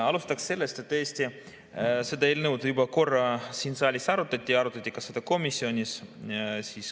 Alustan sellest, et tõesti, seda eelnõu juba korra siin saalis arutati ja arutati ka komisjonis.